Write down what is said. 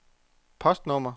postnummer